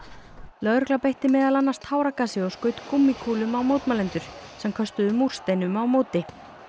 lögregla beitti meðal annars táragasi og skaut gúmmíkúlum á mótmælendur sem köstuðu múrsteinum á móti